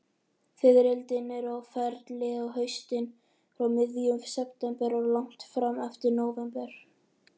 Fiðrildin eru á ferli á haustin, frá miðjum september og langt fram eftir nóvember.